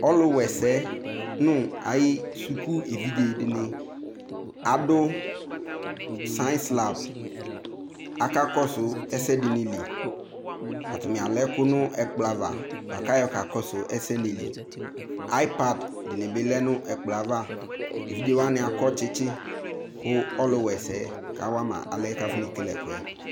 Ɔkuwa ɛsɛ nu ayu suku evidze dini adu saɛns lap akakɔsu ɛsɛ dini li atani alɛ ɛku nu ɛkplɔ ava kayɔ kakɔsu ɛsɛwani li aypad dinibilɛ nu ɛkplɔ ava evidzewani akɔ tsitsi ku ɔkuwa ɛsɛ kawama alɛna yɛ afɔnekele ɛkuɛ